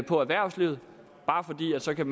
for erhvervslivet bare fordi man så kan